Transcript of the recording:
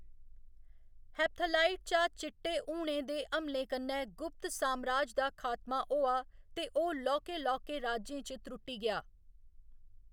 Hephthalite जां चिट्टे हूणें दे हमलें कन्नै गुप्त सामराज दा खातमा होआ ते ओह्‌‌ लौह्‌‌‌के लौह्‌‌‌के राज्यें च त्रुट्टी गेआ।